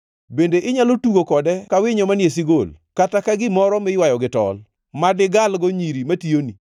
Bende inyalo tugo kode ka winyo manie sigol, kata ka gimoro miywayo gi tol, ma digalgo nyiri matiyoni?